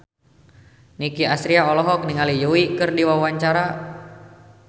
Nicky Astria olohok ningali Yui keur diwawancara